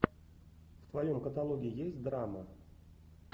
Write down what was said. в твоем каталоге есть драма